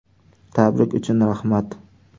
Tabrik uchun rahmat.